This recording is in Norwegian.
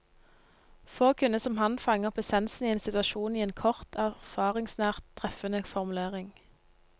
Få kunne som han fange opp essensen i en situasjon i en kort, erfaringsnært treffende formulering.